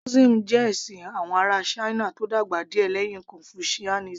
Taoism jẹ́ ẹ̀sìn àwọn ará china tó dàgbà díẹ̀ lẹ́yìn confucianism